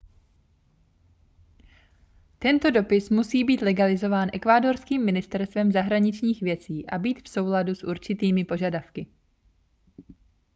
tento dopis musí být legalizován ekvádorským ministerstvem zahraničních věcí a být v souladu s určitými požadavky